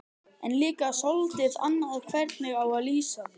En líka soldið annað hvernig á að lýsa því